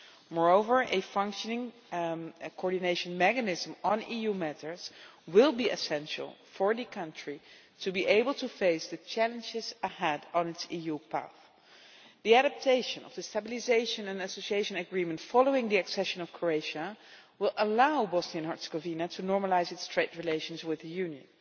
Moreover, a functioning coordination mechanism on EU matters will be essential for the country to be able to face the challenges ahead on its EU path. The adaptation of the stabilisation and association agreement following the accession of Croatia will allow Bosnia and Herzegovina to normalise its trade relations with the Union.